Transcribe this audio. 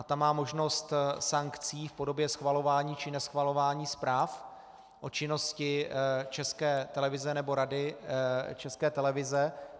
A ta má možnost sankcí v podobě schvalování či neschvalování zpráv o činnosti České televize nebo Rady České televize.